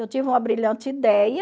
Eu tive uma brilhante ideia...